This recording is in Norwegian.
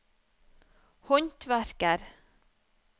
håndverker